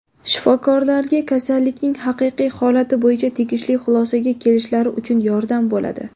shifokorlarga kasallikning haqiqiy holati bo‘yicha tegishli xulosaga kelishlari uchun yordam bo‘ladi.